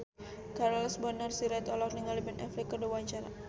Charles Bonar Sirait olohok ningali Ben Affleck keur diwawancara